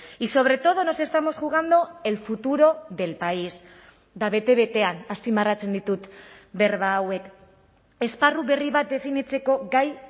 y sobre todo nos estamos jugando el futuro del país eta bete betean azpimarratzen ditut berba hauek esparru berri bat definitzeko gai